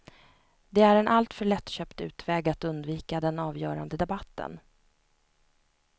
Det är en alltför lättköpt utväg att undvika den avgörande debatten.